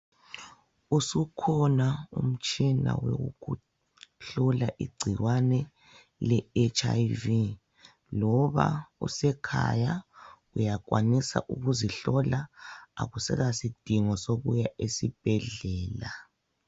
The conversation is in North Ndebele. Ukusukhona umtshina wokuhlola igcikwane le H.I.V loba usekhaya uyakwanisa ukuzihlola, akusela sidingo sokuya esibhedlela.